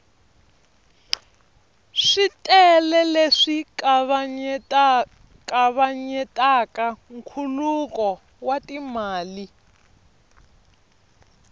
switele leswi kavanyetaka nkhuluko wa timali